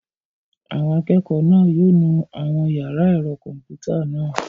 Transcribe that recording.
Àwọn akẹ́kọ̀ọ́ náà yóò nu àwọn yàrá ẹ̀rọ kọ̀m̀pútà náà.